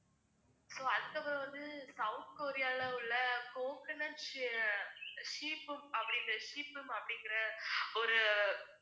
so அதுக்கப்புறம் வந்து south கொரியால உள்ள coconut sh~ அஹ் shethum அப்படிங்கிற shethum அப்படிங்கிற ஒரு